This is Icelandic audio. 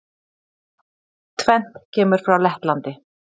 Tvennt kemur frá Lettlandi.